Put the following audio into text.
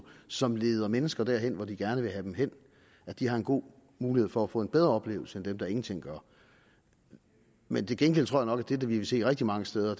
som leder mennesker derhen hvor de gerne vil have dem hen har en god mulighed for at få en bedre oplevelse end dem der ingenting gør men til gengæld tror jeg nok at det vi vil se rigtig mange steder